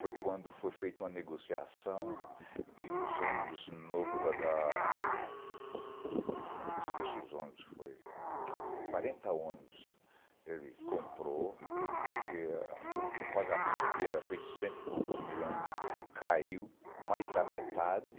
Foi quando foi feita uma negociação de uns ônibus novo da da... Eu esqueço os ônibus que foi... Foi quarenta ônibus que ele comprou, porque ah o pagamento que era feito de cento e poucos milhões caiu mais da metade,